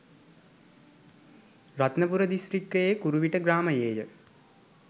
රත්නපුර දිස්ත්‍රික්කයේ කුරුවිට ග්‍රාමයේ ය.